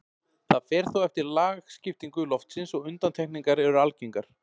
Það fer þó eftir lagskiptingu loftsins og undantekningar eru algengar.